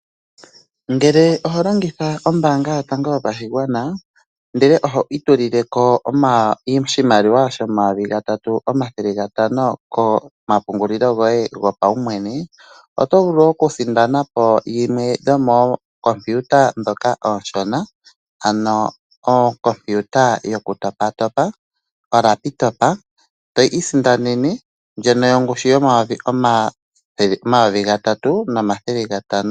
Ngele oho longitha ombaanga yotango yopashigwana, ndele oho itulile ko oshimaliwa shomayovi gatatu omathele ga tano omwedhi kehe, kombaanga yoye, oto vulu okusindana po yimwe yo moo kompiuta ndhoka oonshona, ano okompiuta yoye, eto isindanene okompiuta yo paumwene komayovi gatatu nomathele gatano.